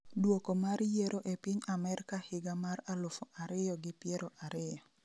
dwoko mar yiero e piny Amerka higa mar alufu ariyo gi piero ariyo